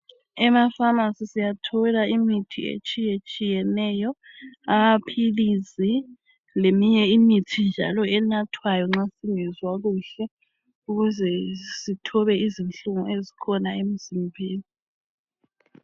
Emafamasi siyathola imithi etshiyetshiyeneyo amaphilisi leminye imithi njalo enathwayo nxa singezwa kuhle ukuze sithobe izinhlungu ezikhona emzimbeni.